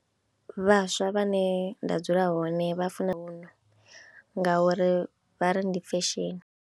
Vhaswa vhane nda dzula hone vha funa ngauri vha ri ndi fesheni.